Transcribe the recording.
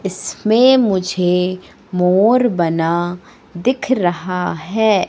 इसमें मुझे मोर बना दिख रहा है।